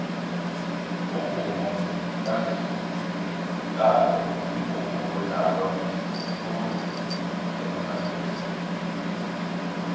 umvumo kantando mvumo odlalwa khulu emitjnadweni